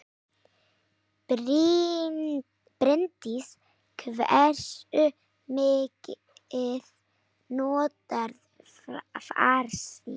Bryndís: Hversu mikið notarðu farsíma?